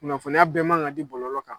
Kunnafoniya bɛɛ man ka di bɔlɔ kan